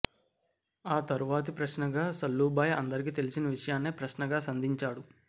ఆ తరువాతి ప్రశ్నగా సల్లూభాయ్ అందరికి తెలిసిన విషయాన్నే ప్రశ్నగా సంధించాడు